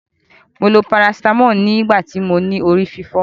Mo lo paracetamol nigbati mo ni ori fifo.